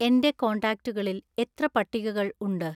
എൻ്റെ കോൺടാക്റ്റുകളിൽ എത്ര പട്ടികകൾ ഉണ്ട്